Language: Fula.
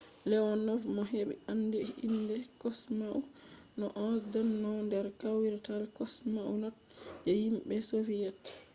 leonov mo ɓe andi be inde kosmaunt no.11” ɗonno nder kawrital kosmonauts je himɓe soviyet